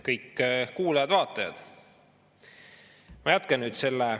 Kõik kuulajad ja vaatajad!